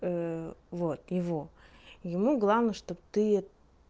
вот его ему главное чтобы ты